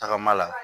Tagama la